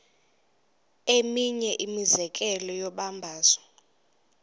eminye imizekelo yombabazo